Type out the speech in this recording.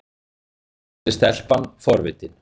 spurði stelpan forvitin.